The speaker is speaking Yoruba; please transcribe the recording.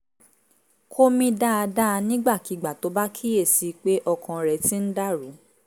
kó mí dáadáa nígbàkigbà tó bá kíyè sí i pé okan rẹ̀ ti ń dà rú